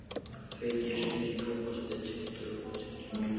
Feykir, hringdu í Tómas eftir tuttugu mínútur.